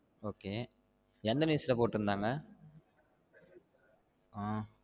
Okay எந்த news ல போட்டுருந்தாங்க